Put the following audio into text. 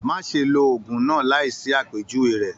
Má ṣe ló òògùn náà láì sí àpèjúwe rẹ.